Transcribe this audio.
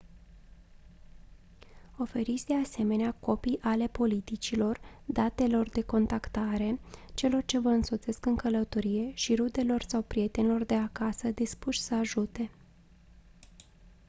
oferiți de asemenea copii ale politicilor/datelor de contactare celor ce vă însoțesc în călătorie și rudelor sau prietenilor de acasă dispuși să ajute